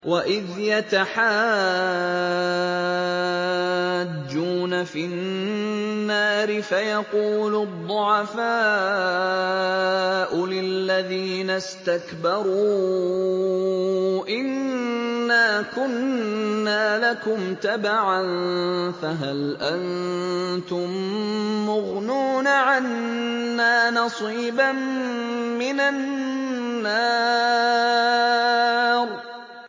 وَإِذْ يَتَحَاجُّونَ فِي النَّارِ فَيَقُولُ الضُّعَفَاءُ لِلَّذِينَ اسْتَكْبَرُوا إِنَّا كُنَّا لَكُمْ تَبَعًا فَهَلْ أَنتُم مُّغْنُونَ عَنَّا نَصِيبًا مِّنَ النَّارِ